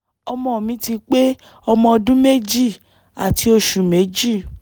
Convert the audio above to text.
ọmọ mi ti pé ọmọ ọdún méjì àti oṣù méjì